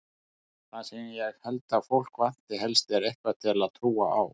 Það sem ég held að fólk vanti helst er eitthvað til að trúa á.